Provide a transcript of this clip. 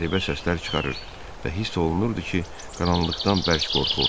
Qəribə səslər çıxarır və hiss olunurdu ki, qaranlıqdan bərk qorxur.